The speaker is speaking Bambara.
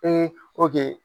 Ee